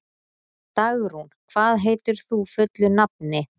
Dagrún, hvað heitir þú fullu nafni?